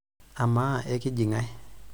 Amaa, ekiji ng'ae?